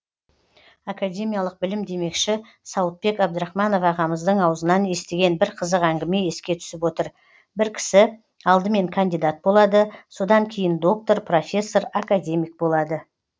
академиялық білім демекші сауытбек абдрахманов ағамыздың аузынан естіген бір қызық әңгіме еске түсіп отыр бір кісі алдымен кандидат болады содан кейін доктор профессор академик болады